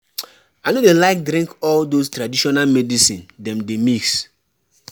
I no dey like drink all those traditional medicine dem dey mix